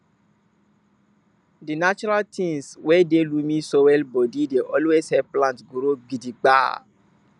di natural tins wey dey loamy soil bodi dey always help plants grow gidigba